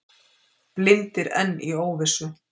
Blindir enn í óvissu